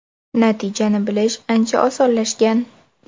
Natijani bilish ancha osonlashgan.